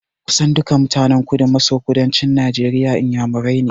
Kusan duka mutanen Kudu-maso-kudancin Najeriya Inyamurani ne.